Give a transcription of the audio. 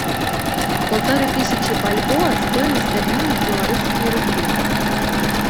полторы тысячи бальбоа стоимость обмена в белорусские рубли